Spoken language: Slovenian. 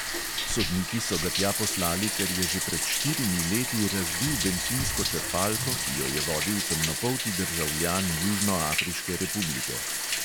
Sodniki so ga tja poslali, ker je že pred štirimi leti razbil bencinsko črpalko, ki jo je vodil temnopolti državljan južnoafriške republike.